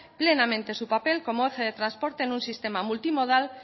plenamente su papel como eje de transporte en un sistema multimodal